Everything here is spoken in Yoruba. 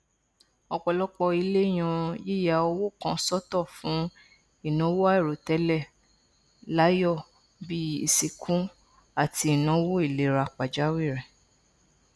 ọpọlọpọ ilé yan yíya owó kan sọtọ fún ìnáwó àìròtẹlẹ láàyò bí i ìsìnkú àti ìnáwó ìlera pàjáwìrì